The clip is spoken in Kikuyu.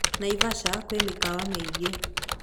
Naivasha kwĩ mĩkawa mĩingĩ